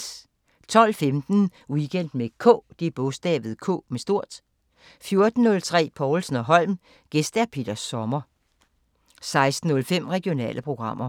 12:15: Weekend med K 14:03: Povlsen & Holm: Gæst Peter Sommer 16:05: Regionale programmer